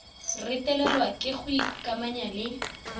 retelelwa ke go ikamanya le